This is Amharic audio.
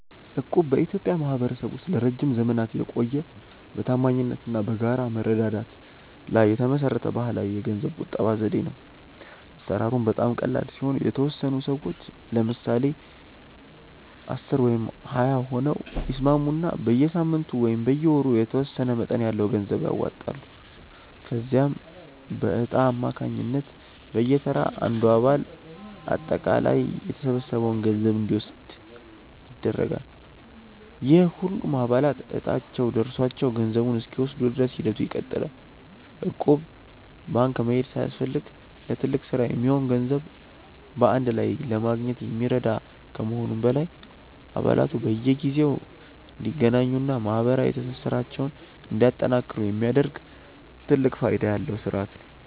እቁብ በኢትዮጵያ ማኅበረሰብ ውስጥ ለረጅም ዘመናት የቆየ፣ በታማኝነት እና በጋራ መረዳዳት ላይ የተመሠረተ ባሕላዊ የገንዘብ ቁጠባ ዘዴ ነው። አሠራሩም በጣም ቀላል ሲሆን፤ የተወሰኑ ሰዎች (ለምሳሌ 10 ወይም 20 ሆነው) ይስማሙና በየሳምንቱ ወይም በየወሩ የተወሰነ መጠን ያለው ገንዘብ ያዋጣሉ። ከዚያም በዕጣ አማካኝነት በየተራ አንዱ አባል አጠቃላይ የተሰበሰበውን ገንዘብ እንዲወስድ ይደረጋል፤ ይህም ሁሉም አባላት ዕጣቸው ደርሷቸው ገንዘቡን እስኪወስዱ ድረስ ሂደቱ ይቀጥላል። እቁብ ባንክ መሄድ ሳያስፈልግ ለትልቅ ሥራ የሚሆን ገንዘብ በአንድ ላይ ለማግኘት የሚረዳ ከመሆኑም በላይ፣ አባላቱ በየጊዜው እንዲገናኙና ማኅበራዊ ትስስራቸውን እንዲያጠናክሩ የሚያደርግ ትልቅ ፋይዳ ያለው ሥርዓት ነው።